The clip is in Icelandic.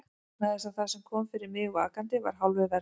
Vegna þess að það sem kom fyrir mig vakandi var hálfu verra.